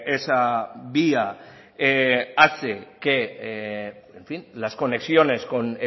esa vía hace que las conexiones con